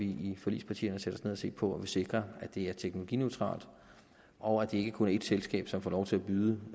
i forligspartierne sætte ned og se på at man sikrer at det er teknologineutralt og at det ikke kun er et selskab som får lov til at byde